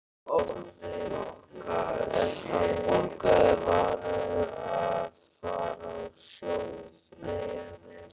En hann borgaði, vanur að fara á sjó í fríum.